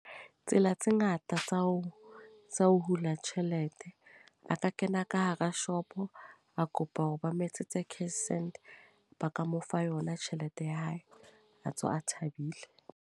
Tsela tse ngata tsa ho, tsa ho hula tjhelete. A ka kena ka hara shopo, a kopa hore ba moetsetsa cash send. Ba ka mo fa yona tjhelete ya hae, a tswa a thabile.